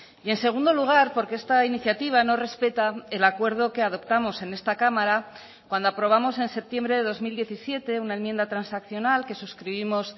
y en segundo lugar porque esta iniciativa no respeta el acuerdo que adoptamos en esta cámara cuando aprobamos en septiembre de dos mil diecisiete una enmienda transaccional que suscribimos